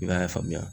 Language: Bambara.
I b'a y'a faamuya